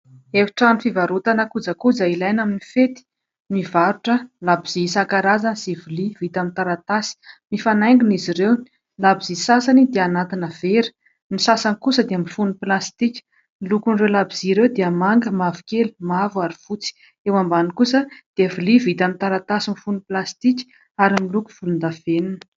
Efitrano fivarotana kojakoja ilaina amin'ny fety, mivarotra labozia isan-karazany sy lovia vita amin'ny taratasy. Mifanaingina izy ireo labozia sasany dia anatina vera, ny sasany kosa dia mifono plastika. Ny lokon'ireo labozia ireo dia manga, mavokely, mavo ary fotsy. Eo ambany kosa dia lovia vita amin'ny taratasy mifono plastika ary miloko volondavenona.